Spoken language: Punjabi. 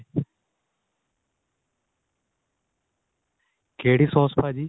ਕਿਹੜੀ ਸੋਸ ਭਾਜੀ